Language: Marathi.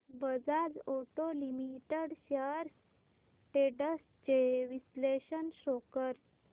Bajaj auto limited shares trends चे विश्लेषण शो कर